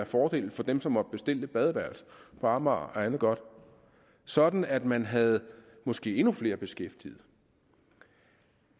fordel for dem som måtte bestille et badeværelse på amager og andet godt sådan at man havde måske endnu flere beskæftigede det